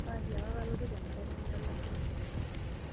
Atiaaka kalotu tenkata nemelakua.